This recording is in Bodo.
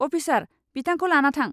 अफिसार, बिथांखौ लाना थां।